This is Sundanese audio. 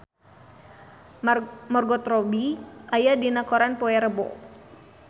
Margot Robbie aya dina koran poe Rebo